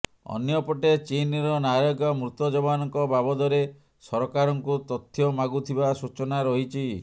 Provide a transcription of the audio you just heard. ଅନ୍ୟପଟେ ଚୀନର ନାଗରିକ ମୃତ ଯବାନଙ୍କ ବାବଦରେ ସରକାରଙ୍କୁ ତଥ୍ୟ ମାଗୁଥିବା ସୂଚନା ରହିଛି